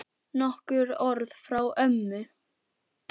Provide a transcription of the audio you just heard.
Nokkur orð frá ömmu.